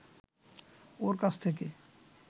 ওর কাছ থেকে